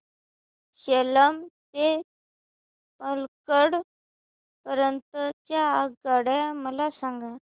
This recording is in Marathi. सेलम ते पल्लकड पर्यंत च्या आगगाड्या मला सांगा